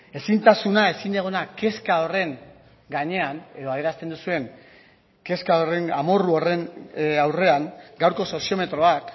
ezintasuna ezinegona kezka horren gainean edo adierazten duzuen kezka horren amorru horren aurrean gaurko soziometroak